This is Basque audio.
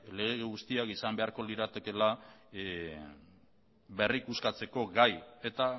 lege guztiak izan beharko liratekeela berrikuskatzeko gai eta